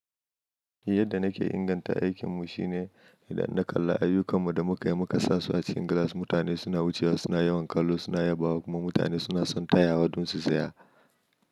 Yadda nake inganta aikinmu shine idan na kalla ayyukan mu da muka yi muka sa su a cikin glass mutane suna wucewa suna yawan kallo suna yabawa kuma mutane suna son tayawa don su saya.